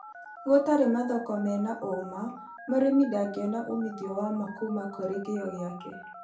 Gũtarĩ mathoko mena ũma, mũrĩmi ndangĩona uumithio wa ma kũma kũrĩ kĩyo gĩake